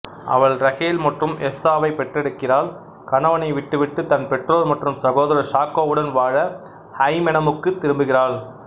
அவள் ரஹேல் மற்றும் எஸ்தாவைப் பெற்றெடுக்கிறாள் கணவனை விட்டுவிட்டு தன் பெற்றோர் மற்றும் சகோதரர் சாக்கோவுடன் வாழ ஐமெனெமுக்குத் திரும்புகிறாள்